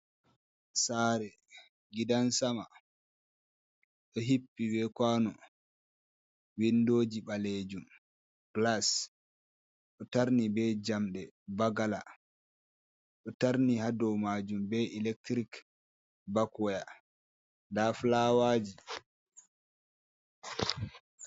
Saare gidan sama ɗo hippi be kuwano, winndooji ɓaleejum ,gilas ɗo tarni be njamɗe baggala, ɗo tarni haa dow maajum be elektirik bakwaya, ndaa fulaawaaji.